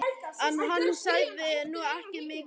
En hann sagði nú ekki mikið.